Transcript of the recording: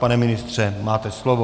Pane ministře, máte slovo.